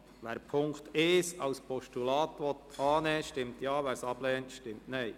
Wer den Punkt 1 als Postulat annehmen will, stimmt Ja, wer dies ablehnt, stimmt Nein.